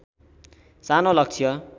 सानो लक्ष्य